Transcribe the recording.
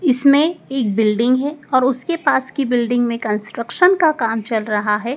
इसमें एक बिल्डिंग है और उसकी पास के बिल्डिंग मे कंस्ट्रक्शन का काम चल रहा है।